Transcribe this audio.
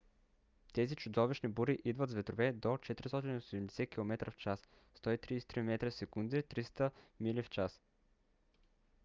тези чудовищни бури идват с ветрове до 480 км/ч 133 м/сек; 300 мили/ч